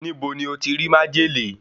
Níbo ni o ti rí májèlé